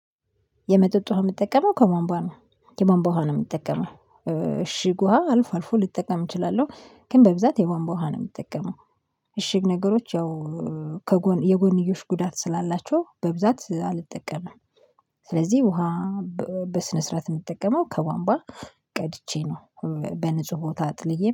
የመጠጥ ውሃ የምጠቀመው ከቧንቧ ነው። የቧንቧ ውሃ ነው የምጠቀመው እሽግ ውሃ አልፎ አልፎ ልጠቀም እችላለሁ ግን በብዛት የቧንቧ ውሃ ነው የምጠቀመው። እሽግ ነገሮች ያው ከጎን የጎንዮሽ ጉዳት ስላላቸው በብዛት አልጠቀምም። ስለዚህ ውሃ በስነ ስርዓት የምጠቀመው ከቧንቧ ቀድቼ ነው። በንጹህ ቦታ አጥልዬ